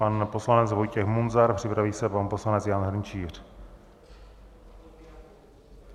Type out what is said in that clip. Pan poslanec Vojtěch Munzar, připraví se pan poslanec Jan Hrnčíř.